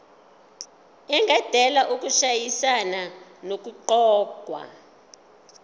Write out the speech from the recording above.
engadala ukushayisana nokuqokwa